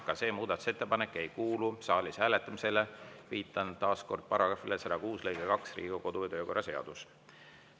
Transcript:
Ka see muudatusettepanek ei kuulu saalis hääletamisele, viitan taas § 106 lõikele 2 Riigikogu kodu‑ ja töökorra seaduses.